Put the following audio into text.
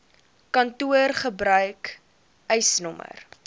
kantoor gebruik eisnr